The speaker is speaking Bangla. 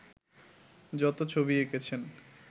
যত ছবি এঁকেছেন